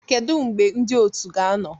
Kedu mgbe ndị otu ga-anọ?